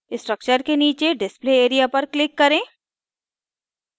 structure के नीचे display area पर click करें